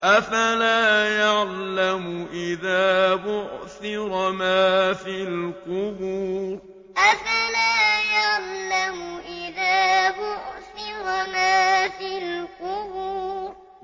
۞ أَفَلَا يَعْلَمُ إِذَا بُعْثِرَ مَا فِي الْقُبُورِ ۞ أَفَلَا يَعْلَمُ إِذَا بُعْثِرَ مَا فِي الْقُبُورِ